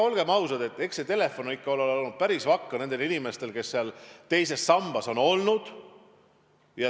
Olgem ausad, eks see telefon ikka ole olnud päris vakka nendel inimestel, kes seal teises sambas on olnud.